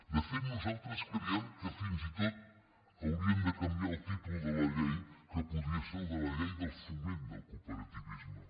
de fet nosaltres creiem que fins i tot hauríem de canviar el títol de la llei que podria ser el de llei del foment del cooperativisme